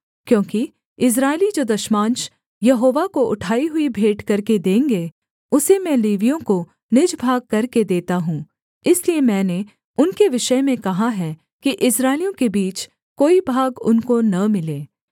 क्योंकि इस्राएली जो दशमांश यहोवा को उठाई हुई भेंट करके देंगे उसे मैं लेवियों को निज भाग करके देता हूँ इसलिए मैंने उनके विषय में कहा है कि इस्राएलियों के बीच कोई भाग उनको न मिले